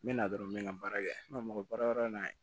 N bɛ na dɔrɔn n bɛ n ka baara kɛ n ka mɔgɔ baara wɛrɛ na ye